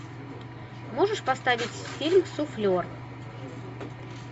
можешь поставить фильм суфлер